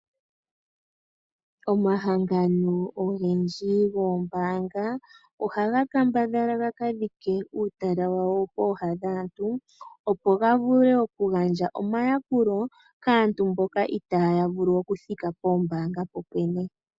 Omahangano ogendji goombanga ,ohaga kambadhala gakadhike uutala wawo pooha dhaantu, opo gavule okugandja omayakulo kaantu mboka, iitaaya vulu okuthika poombaanga popwene.